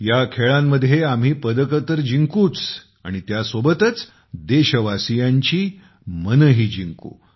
या खेळांमध्ये आम्ही पदके तर जिंकू आणि त्यासोबतच देशवासीयांची मनेही जिंकू